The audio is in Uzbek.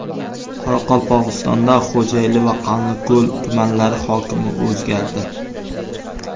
Qoraqalpog‘istonda Xo‘jayli va Qanliko‘l tumanlari hokimi o‘zgardi.